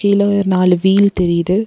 கீழ ஒயர் நாலு வீல் தெரியுது.